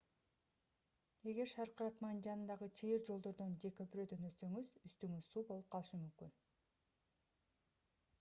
эгер шаркыратманын жанындагы чыйыр жолдордон же көпүрөдөн өтсөңүз үстүңүз суу болуп калышы мүмкүн